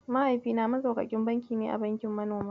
Mahaifina Maxaukakin banki ne a bankin manoma.